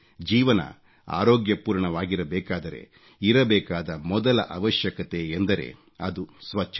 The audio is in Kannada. ಜೀವನ ಆರೋಗ್ಯಪೂರ್ಣವಾಗಿರಬೇಕಾದರೆ ಇರಬೇಕಾದ ಮೊದಲ ಅವಶ್ಯಕತೆ ಎಂದರೆ ಅದು ಸ್ವಚ್ಚತೆ